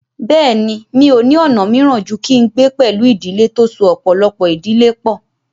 Bẹ́ẹ̀ni, mi ò ní ọ̀nà míràn ju kí n gbé pẹ̀lú ìdílé tó so ọ̀pọ̀lọpọ̀ ìdílé pọ̀